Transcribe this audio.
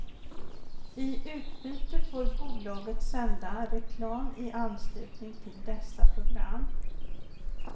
I utbyte får bolaget sända reklam i anslutning till dessa program.